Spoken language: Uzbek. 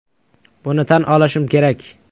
Buni tan olishim kerak.